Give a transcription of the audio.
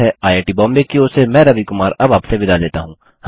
IIT Bombay की ओर से मैं रवि कुमार अब आपसे विदा लेता हूँ